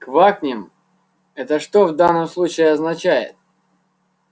квакнем это что в данном случае означает